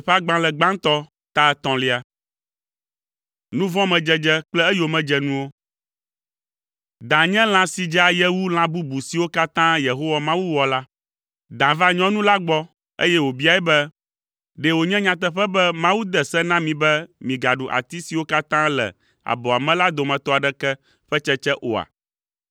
Da nye lã si dze aye wu lã bubu siwo katã Yehowa Mawu wɔ la. Da va nyɔnu la gbɔ, eye wòbiae be, “Ɖe wònye nyateƒe be Mawu de se na mi be migaɖu ati siwo katã le abɔa me la dometɔ aɖeke ƒe tsetsea oa?”